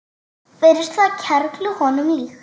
Finnst það kerlu honum líkt.